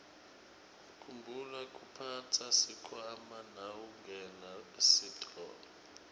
khumbula kuphatsa sikhwama nawungena esitolo